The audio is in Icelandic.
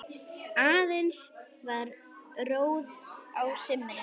Aðeins var róið á sumrin.